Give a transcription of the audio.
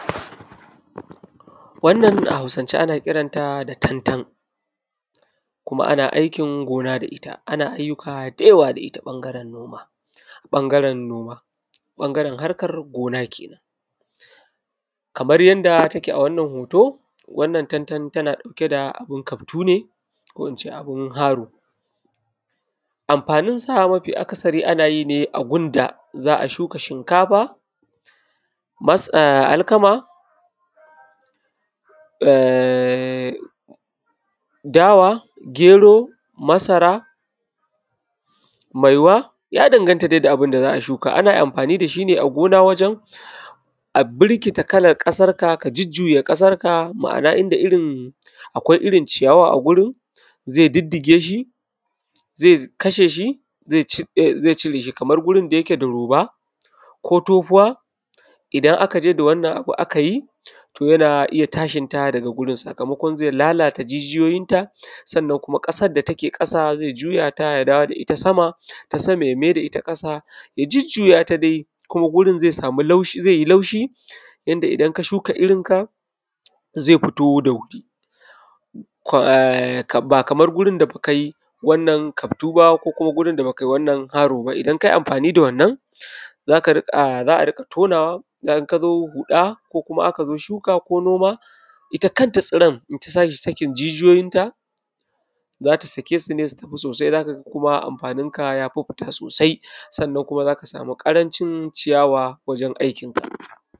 Wannan a Hausance ana kiran ta da tantan, kuma ana aikin gona da ita ana ayyuka da yawa da ita ɓangaren noma, ɓangaren noma, ɓangaren harkan gona ke nan. Kamar yanda take a wannan hoto, wannan tantan tana ɗauke da abun kaftu ne, ko in ce abun haro. Amfanin sawa mafi akasari ana yi ne a gun da za a shuka shinkafa, alkama, ehnn! Dawa, gero masara, maiwa, ya danganta dai da abun da za a shuka. Ana amfani da shi ne a gona wajen, a birkita kalan ƙasarka ka jujjuya ƙasarka, ma'ana inda irin, akwai irin ciyawa a gurin, zai diddige shi, zai kashe shi, zai cire shi, kamar gurin da yake da roba, ko tofuwa, idan aka je da wannan abu aka yi, to yana iya tashin ta daga gurin sakamakon zai lalata jijiyoyinta, sannan kuma ƙasar da take ƙasa zai juya ta ya dawo da ita sama, ta sama ya mai da ta ƙasa, ya jujjuya ta dai, kuma gurin zai samu laushi, zai yi laushi, yanda idan ka shuka irinka, zai fito da wuri, ehnn! Ba kamar gurin da kuka yi wannan kaftu ba, ko kuma gurin da ba ka yi haro ba. Idan ka yi amfani da wannan, za ka riƙa, za a riƙa tonawa, in ka zo huɗa, ko kuma aka zo shuka, ko noma, ita kanta tsiran in ta tashi sakin jijiyoyinta, za ta sake su ne su tafi sosai, za ka ga kuma amfaninka ya fi fita sosai, sannan kuma za ka samu ƙarancin ciyawa wajen aikinka.